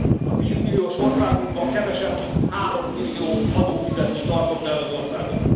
A 10 milliós országunkban kevesebb mint 3 millió adófizető tartotta el az országot.